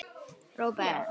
Róbert á þrjá syni.